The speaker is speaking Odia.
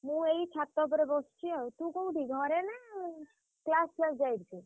ମୁଁ ଏଇ ଛାତ ଉପରେ ବସଚି ଆଉ ତୁ କୋଉଠି ଘରେ ନା class ଫ୍ଲାସ ଯାଇଚୁ?